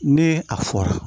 Ne a fɔra